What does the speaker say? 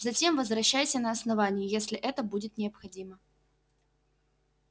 затем возвращайся на основание если это будет необходимо